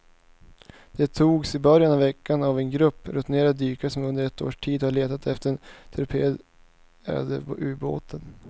De togs i början av veckan av en grupp rutinerade dykare som under ett års tid har letat efter den torpederade ubåten.